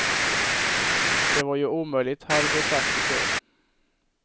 Det var ju omöjligt hade de sagt i kör.